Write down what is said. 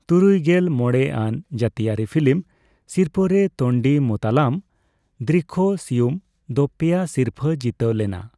ᱛᱩᱨᱩᱭᱜᱮᱞ ᱢᱚᱲᱮ ᱟᱱ ᱡᱟᱹᱛᱤᱭᱟᱹᱨᱤ ᱯᱷᱤᱞᱤᱢ ᱥᱤᱨᱯᱷᱟᱹ ᱨᱮ ᱛᱳᱱᱰᱤᱢᱩᱛᱟᱞᱟᱢ ᱫᱨᱤᱠᱠᱷᱚᱥᱤᱭᱩᱢ ᱫᱚ ᱯᱮᱭᱟ ᱥᱤᱨᱯᱷᱟᱹᱭ ᱡᱤᱛᱟᱹᱣ ᱞᱮᱱᱟ ᱾